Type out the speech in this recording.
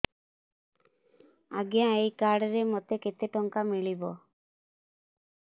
ଆଜ୍ଞା ଏଇ କାର୍ଡ ରେ ମୋତେ କେତେ ଟଙ୍କା ମିଳିବ